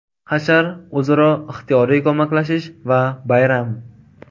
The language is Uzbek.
Hashar – o‘zaro ixtiyoriy ko‘maklashish va bayram.